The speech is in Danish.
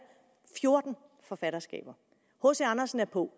fjorten forfatterskaber hc andersen er på